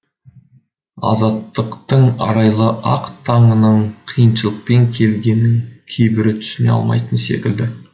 азаттықтың арайлы ақ таңының қиыншылықпен келгенін кейбірі түсіне алмайтын секілді